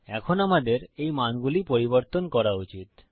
এখন আমাদের এই মানগুলি পরিবর্তন করা উচিত